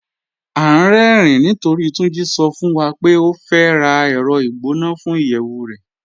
À n rẹ̀rìn nítorí Túnjí sọ̀ fún wa pé ó fẹ́ rá ẹrọ̀ igbọnà fún iyẹwu rẹ̀.